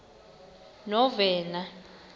novena